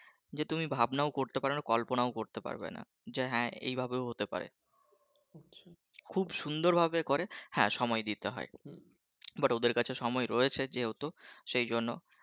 যে তুমি ভাবনাও করতে পারোনা কল্পনাও করতে পারবে না যে হ্যাঁ এভাবেও হতে পারে খুব সুন্দর ভাবে করে হ্যাঁ সময় দিতে হয় but ওদের কাছে সময় আছে যেহেতু সেইজন্য